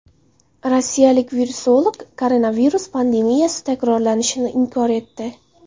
Rossiyalik virusolog koronavirus pandemiyasi takrorlanishini inkor etdi.